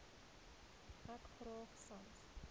ek graag sans